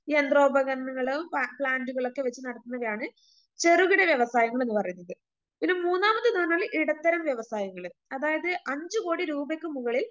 യന്ത്രോപകരണങ്ങളും പ്ലാന്റുകളുംമൊക്കെ വച്ച് നടത്തുന്നതാണ് ചെറുകിട വ്യവസായങ്ങളെന്ന് പറയുന്നത്.ഇനി മൂന്നാമത്തെന്ന് പറഞ്ഞാല് ഇടത്തരം വ്യവസായങ്ങള് അതായത് അഞ്ചു കോടി രൂപയ്ക്ക് മുകളിൽ